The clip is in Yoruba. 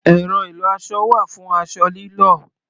Ẹ̀rọ ìlọ-aṣọ wà fún aṣọ lílọ̀.